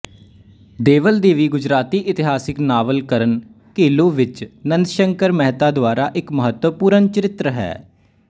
ਦੇਵਲ ਦੇਵੀ ਗੁਜਰਾਤੀ ਇਤਿਹਾਸਕ ਨਾਵਲ ਕਰਨ ਘੇਲੋ ਵਿੱਚ ਨੰਦਸ਼ੰਕਰ ਮੇਹਤਾ ਦੁਆਰਾ ਇੱਕ ਮਹੱਤਵਪੂਰਨ ਚਰਿੱਤਰ ਹੈ